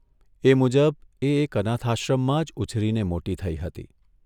એ મુજબ એ એક અનાથશ્રમમાં જ ઉછરીને મોટી થઇ હતી.